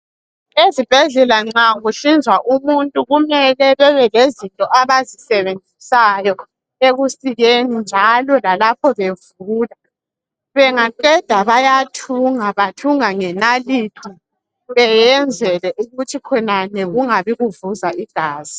Ezibhedlela nxa kuhlinzwa umuntu kumele bebe lezinto abazisebenzisayo ekusikeni njalo lalapho bevula. Bengaqeda bayathunga, bathunga ngenalithi beyenzele ukuthi khonale kungabi kuvuza igazi